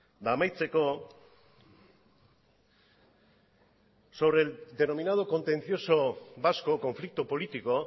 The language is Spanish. eta amaitzeko sobre el denominado contencioso vasco conflicto político